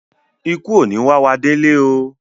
Ìkú ò ní wá wá délé oo.